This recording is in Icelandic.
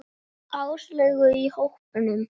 Áslaugu í hópnum.